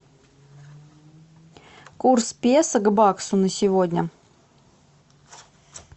курс песо к баксу на сегодня